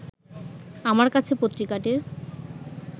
আমার কাছে পত্রিকাটির